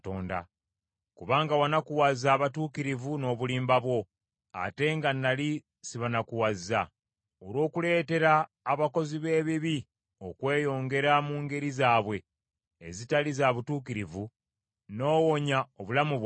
Kubanga wanakuwaza abatuukirivu n’obulimba bwo, ate nga nnali sibanakuwazza. Olw’okuleetera abakozi b’ebibi okweyongera mu ngeri zaabwe ezitali za butuukirivu, n’owonya obulamu bwabwe,